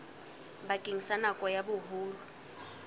bakeng sa nako ya boholo